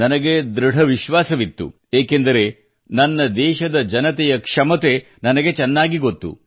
ನನಗೆ ಧೃಡ ವಿಶ್ವಾಸ ಇತ್ತು ಏಕೆಂದರೆ ನನ್ನ ದೇಶದ ಜನತೆಯ ಕ್ಷಮತೆ ನನಗೆ ಚೆನ್ನಾಗಿ ಗೊತ್ತು